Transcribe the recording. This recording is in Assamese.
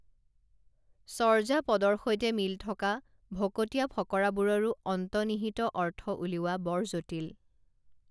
চৰ্যাপদৰ সৈতে মিল থকা ভকতীয়া ফকৰাবোৰৰো অন্তনিহিত অৰ্থ উলিওৱা বৰ জটিল